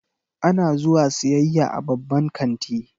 Ana zuwa siyayya a babban kanti.